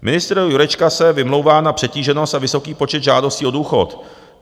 Ministr Jurečka se vymlouvá na přetíženost a vysoký počet žádostí o důchod.